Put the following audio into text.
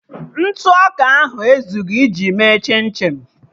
Ntụ ọka ahụ ezughị ime chim chim